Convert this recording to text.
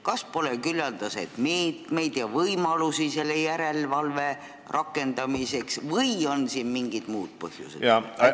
Kas pole küllaldaselt meetmeid ega võimalusi selle järelevalve rakendamiseks või on siin mingid muud põhjused?